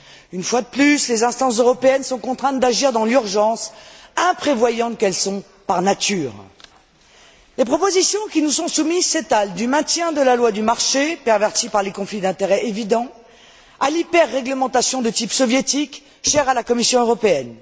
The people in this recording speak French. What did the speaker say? Une fois de plus, les instances européennes sont contraintes d'agir dans l'urgence, imprévoyantes qu'elles sont, par nature. Les propositions qui nous sont soumises s'étalent du maintien de la loi du marché, pervertie par les conflits d'intérêt évidents, à l'hyperréglementation de type soviétique, chère à la Commission européenne.